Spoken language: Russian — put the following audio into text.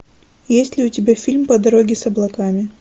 есть ли у тебя фильм по дороге с облаками